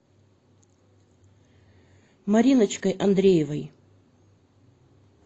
мариночкой андреевой